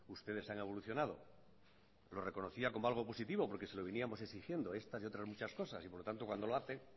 ustedes han evolucionado lo reconocía como algo positivo porque se lo veníamos exigiendo estas y otras muchas cosas y por lo tanto cuando lo hace